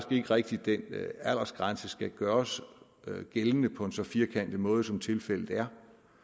ikke rigtig at den aldersgrænse skal gøres gældende på en så firkantet måde som tilfældet er